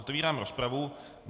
Otevírám rozpravu.